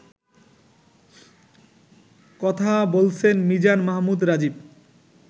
কথা বলছেন মিজান মাহমুদ রাজিব